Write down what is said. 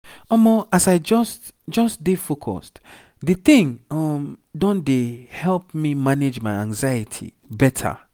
omo as i just just dey focuseddi thing um don dey help me manage my anxiety better.